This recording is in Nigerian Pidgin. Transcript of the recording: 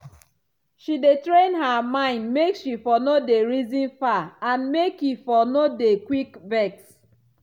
she dey train her mind make she for no dey reason far and make e for no dey quick vex.